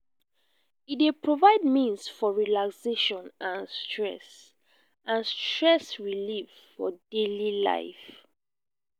e dey provide means for relaxation and stress and stress relief for daily life.